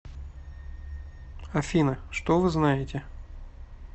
афина что вы знаете